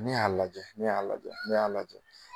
Ne y'a lajɛ ne y'a lajɛ ne y'a lajɛ